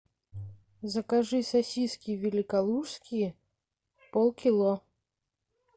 закажи сосиски великолужские полкило